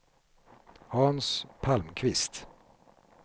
Hans Palmqvist